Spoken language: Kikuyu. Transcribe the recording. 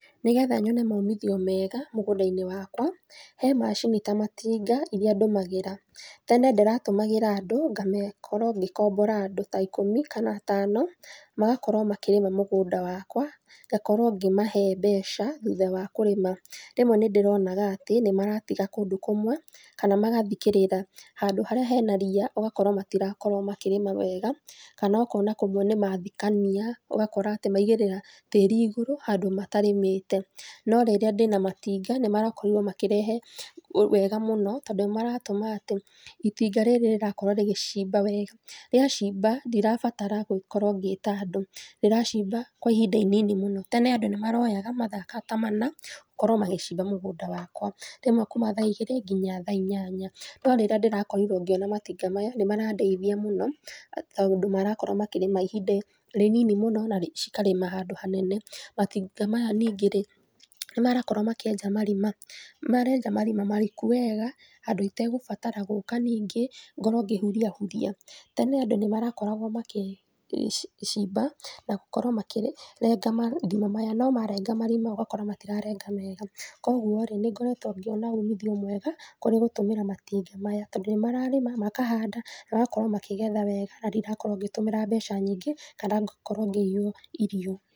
Nĩgetha nyone maumithio mega mũgũnda-inĩ wakwa, he macini ta matinga iria ndũmagĩra. Tene ndĩratũmagĩra andũ ngame, ngakorwo ngĩkombora andũ ta ikũmi kana atano magakorwo makĩrĩma mũgũnda wakwa, ngakorwo ngĩmahe mbeca thutha wa kũrĩma. Rĩmwe nĩndĩronaga ati nĩmaratiga kũndũ kũmwe kana magathikĩrĩra, handũ harĩa hena ria, ũgakora matirakorwo makĩrĩma wega kana ũkona kũmwe nĩmathikania, ũgakora atĩ maigĩrĩra tĩri igũrũ handũ matarĩmĩte. No rĩrĩa ndĩna matinga nĩmarakorirwo makĩrehe wega mũno tondũ nĩmaratũma atĩ itinga rĩrĩ rĩrakorwo rĩgĩcĩmba wega. Rĩacimba ndirabatara gũkorwo ngita andũ, rĩracimba kwa ihinda inini mũno. Tene andũ nĩmaroyaga mathaa ta mana gũkorwo magĩcimba mũgũnda wakwa, rĩmwe kuuma thaa igĩrĩ nginya thaa inyanya. No rĩrĩa ndĩrakorirwo ngĩona matinga maya nĩmarandeithia mũno tondũ marakorwo makĩrĩma ihinda rĩnini mũno na cikarĩma handũ hanene. Matinga maya ningĩ-rĩ, nĩmarakorwo makĩenja marima, marenja marima mariku wega handũ itagũbatara gũka ningĩ ngorwo ngĩhuria huria. Tene andũ nĩmarakoragwo makĩcimba na gũkorwo makĩrenga marima maya, no marenga marima ũgakora matirarenga mega. Kwogwo-rĩ, nĩngoretwo ngĩona umithio mwega kũrĩ gũtũmĩra matinga maya, tondũ nĩmararĩma, makahanda magakorwo makĩgetha wega na ndirakorwo ngĩtũmĩra mbeca nyingĩ, kana ngakorwo ngĩiywo irio.